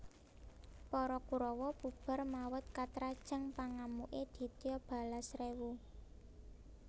Para Kurawa bubar mawut katrajang pangamuke Ditya Balasrewu